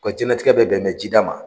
U ka diɲɛnatigɛ bɛ bɛnen bɛ jida ma.